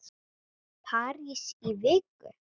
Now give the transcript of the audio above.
París í viku?